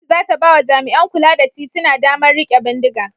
Gwamnati za ta ba wa jami'an kula da tituna damar riƙe bindiga.